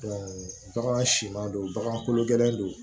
bagan siman don bagan kolo gɛlɛn don